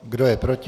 Kdo je proti?